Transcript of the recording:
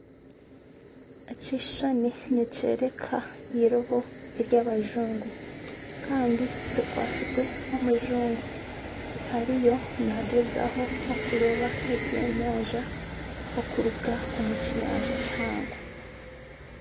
Ekishushani nikyoreka eirobo ery'abajungu Kandi rikwatsirwe omujungu ariyo nagyezaho okuroba ebyenyanja okuruga omu kiyanja kihango.